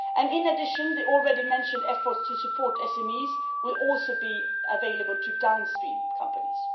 In addition, the aforementioned efforts to support SMEs will also be available to downstream companies.